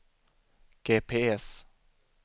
GPS